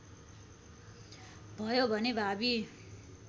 भयो भने भावी